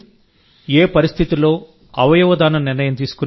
ఏ పరిస్థితుల్లో అవయవదానం నిర్ణయం తీసుకున్నారు